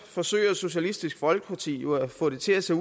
forsøger socialistisk folkeparti jo at få det til at se